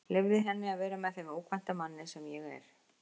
Leyfði henni að vera með þeim ókvænta manni sem ég er.